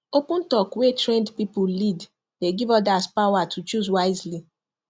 open talk wey trained people lead dey give others power to choose wisely